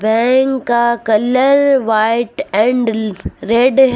Bank का colour white and red है।